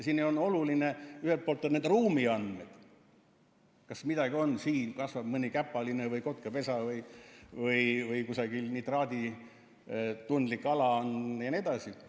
See on oluline, ühelt poolt on need ruumiandmed, kas midagi siin kasvab, mõni käpaline, või on kotkapesa või kusagil nitraaditundlik ala jne.